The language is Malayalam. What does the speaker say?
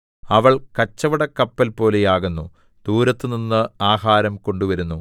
അവൾ കച്ചവടക്കപ്പൽപോലെയാകുന്നു ദൂരത്തുനിന്ന് ആഹാരം കൊണ്ടുവരുന്നു